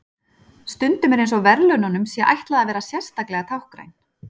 Stundum er eins og verðlaununum sé ætlað að vera sérstaklega táknræn.